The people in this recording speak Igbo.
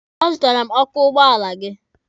A zụtara m azụ ọkụ ụgbọala gị.